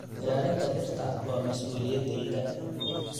Ilaalinta dhirta waa mas'uuliyaddayada.